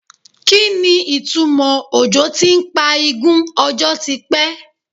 Kí ni ìtumò òjò ti ń pa igún ọjọ́ ti pẹ́?